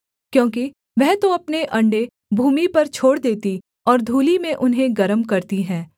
क्योंकि वह तो अपने अण्डे भूमि पर छोड़ देती और धूलि में उन्हें गर्म करती है